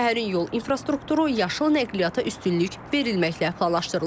Şəhərin yol infrastrukturu yaşıl nəqliyyata üstünlük verilməklə planlaşdırılıb.